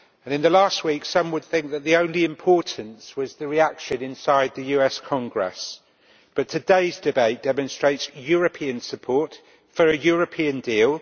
In the last week, some would think that the only importance was the reaction inside the US Congress, but today's debate demonstrates European support for a European deal.